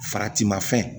Faratima fɛn